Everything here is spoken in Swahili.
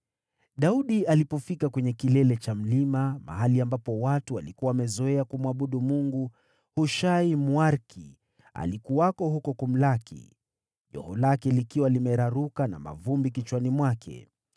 Daudi alipofika kwenye kilele cha mlima, mahali ambapo watu walikuwa wamezoea kumwabudu Mungu, Hushai, Mwariki, alikuwako huko kumlaki, joho lake likiwa limeraruka na mavumbi kichwani mwake.